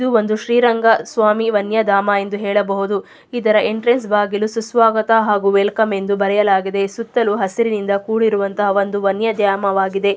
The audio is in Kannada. ಇದೊಂದು ಶ್ರೀರಂಗಸ್ವಾಮಿ ವನ್ಯಧಾಮ ಎಂದು ಹೇಳಬಹುದು. ಇದರ ಎಂಟ್ರನ್ಸ್ ಬಾಗಿಲು ಸುಸ್ವಾಗತ ಹಾಗು ವೆಲ್ಕಮ್ ಎಂದು ಬರೆಯಲಾಗಿದೆ. ಸುತ್ತಲು ಹಸಿರಿನಿಂದ ಕುಡಿರಿರುವಂಥ ವನ್ಯದ್ಯಾಮವಾಗಿದೆ.